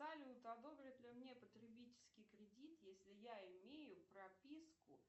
салют одобрят ли мне потребительский кредит если я имею прописку